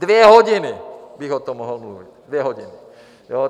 Dvě hodiny bych o tom mohl mluvit, dvě hodiny!